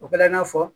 O kɛla i n'a fɔ